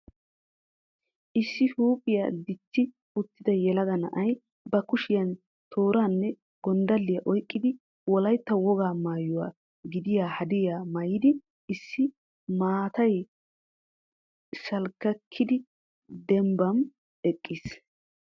Issi huuphiyaa dichchi uttida yelaga na'ay ba kushiyan tooranne gonddaliyaa oyqqidi Wolaytta wogaa maayyuwa gidiya hadiyaa maayyidi issi maatay shalkkakidi dembbam eqqiis.